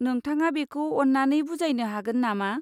नोंथाङा बेखौ अन्नानै बुजायनो हागोन नामा?